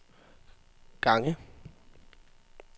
gange